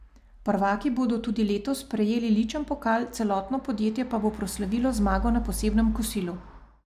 Prvaki bodo tudi letos prejeli ličen pokal, celotno podjetje pa bo proslavilo zmago na posebnem kosilu.